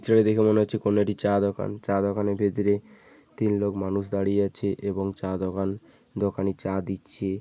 চিত্রটা দেখে মনে হচ্ছে কোনো একটি চা দোকান চা দোকানের ভিতরে তিন লোক মানুষ দাঁড়িয়ে আছে এবং চা দোকান দোকানি চা দিচ্ছে ।